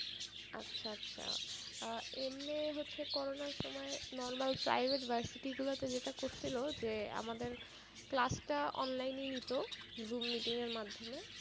আচ্ছা আচ্ছা আহ এমনে সে করোনার সময়ে normal private versity গুলাতে যেগুলা করছিলো যে আমাদের class টা online ই নিতো zoom meeting এর মাধ্যমে,